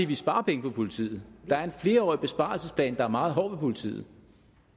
vi sparer penge på politiet der er en flerårig besparelsesplan der er meget hård ved politiet